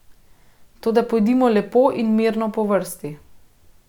Toda pojdimo lepo in mirno po vrsti.